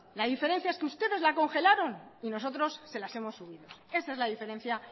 la diferencia es que ustedes la congelaron y nosotros se las hemos subido esa es la diferencia